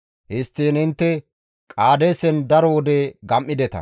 Histtiin intte Qaadeesen daro wode gam7ideta.